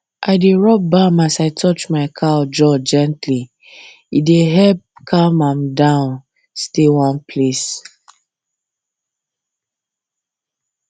i dey rub balm as i touch my cow jaw gentlye dey help am calm down stay one place